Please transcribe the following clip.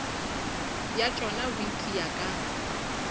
bja tšona bo itia ka